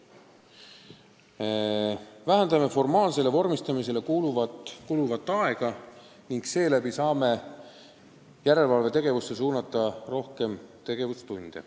Me vähendame formaalsele vormistamisele kuuluvat aega ning saame tänu sellele rohkem aega pühendada järelevalvetegevuseks.